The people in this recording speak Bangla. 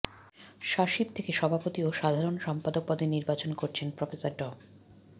স্বাশিপ থেকে সভাপতি ও সাধারণ সম্পাদক পদে নির্বাচন করছেন প্রফেসর ড